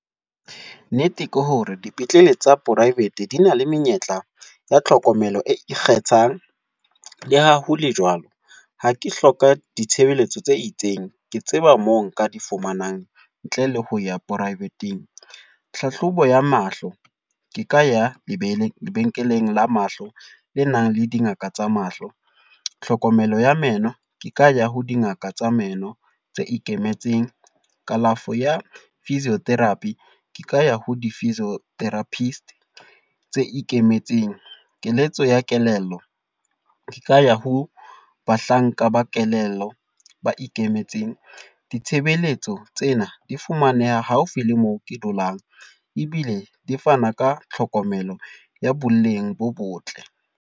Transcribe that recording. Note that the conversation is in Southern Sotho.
Nnete ke hore, dipetlele tsa private di na le menyetla ya tlhokomelo e ikgethang. Le ha hole jwalo, ha ke hloka ditshebeletso tse itseng, ke tseba mo nka di fumanang ntle le ho ya private-ng. Tlhahlobo ya mahlo ke ka ya lebe, lebenkeleng la mahlo le nang le dingaka tsa mahlo. Tlhokomelo ya meno ke ka ya ho dingaka tsa meno tse ikemetseng. Kalafo ya physiotherapists ka ya ho di physiotherapists tse ikemetseng. Keletso ya kelello, di ka ya ho bahlanka ba kelello ba ikemetseng. Ditshebeletso tsena di fumaneha haufi le moo ke dulang, ebile di fana ka tlhokomelo ya boleng bo botle.